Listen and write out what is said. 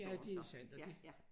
Ja det er sandt og det